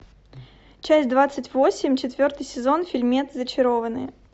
часть двадцать восемь четвертый сезон фильмец зачарованные